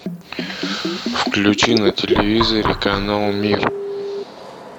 включи на телевизоре канал мир